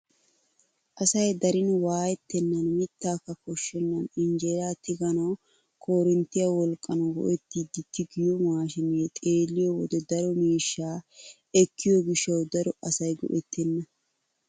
Asay darin waayettenan mittaaka koshshenan injeeraa tiganawu korinttiyaa wolqqan go"ettidi tigiyoo maashinee xeelliyoo wode daro miishsha ekkiyoo gishshawu daro asay go"ettena!